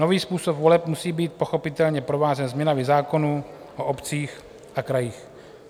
Nový způsob voleb musí být pochopitelně provázen změnami zákonů o obcích a krajích.